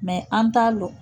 an t'a lɔn.